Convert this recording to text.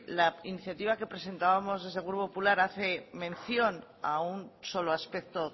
la iniciativa que presentábamos desde el grupo popular hace mención a un solo aspecto